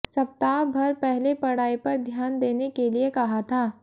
सप्ताह भर पहले पढ़ाई पर ध्यान देने के लिए कहा था